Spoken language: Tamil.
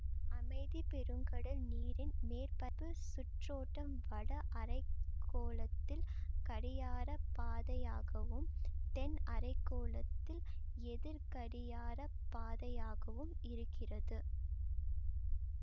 அமைதி பெருங்கடல் நீரின் மேற்பரப்பு சுற்றோட்டம் வட அரை கோளத்தில் கடியாரப்பாதையாகவும் தென் அரை கோளத்தில் எதிர்கடியாரப்பாதையாகவும் இருக்கிறது